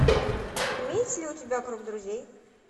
имеется ли у тебя круг друзей